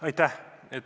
Aitäh!